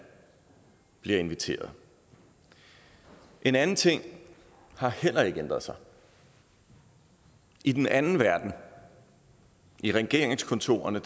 bliver inviteret en anden ting har heller ikke ændret sig i den anden verden i regeringskontorerne